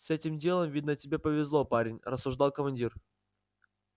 с этим делом видно тебе повезло парень рассуждал командир